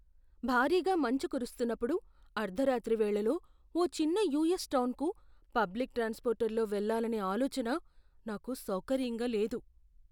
భారీగా మంచు కురుస్తున్నప్పుడు అర్ధరాత్రి వేళలో ఓ చిన్న యూఎస్ టౌన్కు పబ్లిక్ ట్రాన్స్పోర్ట్లో వెళ్ళాలనే ఆలోచన నాకు సౌకర్యంగా లేదు.